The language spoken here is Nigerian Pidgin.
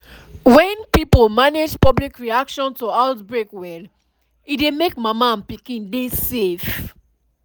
when pipo manage public reaction to outbreak well e dey make mama and pikin dey save